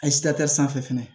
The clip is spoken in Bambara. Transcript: A sanfɛ fɛnɛ